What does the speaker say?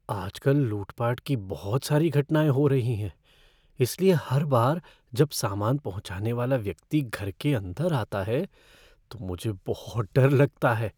आजकल लूटपाट की बहुत सारी घटनाएँ हो रही हैं, इसलिए हर बार जब सामान पहुंचाने वाला व्यक्ति घर के अंदर आता है तो मुझे बहुत डर लगता है।